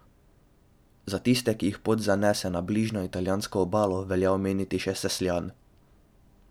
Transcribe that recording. Za tiste, ki jih pot zanese na bližnjo italijansko obalo, velja omeniti še Sesljan.